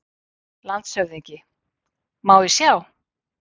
LANDSHÖFÐINGI: Má ég sjá?